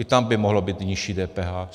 I tam by mohlo být nižší DPH.